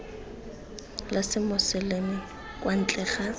la semoseleme kwa ntle ga